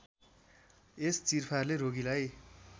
यस चिरफारले रोगीलाई